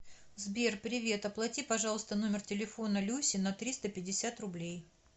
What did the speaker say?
сбер привет оплати пожалуйста номер телефона люси на триста пятьдесят рублей